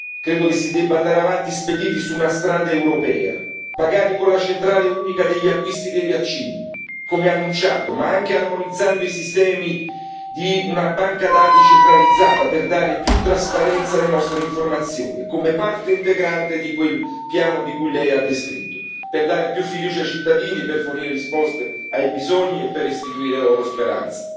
Credo che si debba andare avanti spediti su una strada europea, magari con la centrale unica degli acquisti dei vaccini, come annunciato, ma anche armonizzando i sistemi di una banca dati centralizzata per dare più trasparenza alle nostre informazioni, come parte integrante di quel piano che Lei ha descritto per dare più fiducia ai cittadini, per fornire risposte ai bisogni e per restituire loro speranza.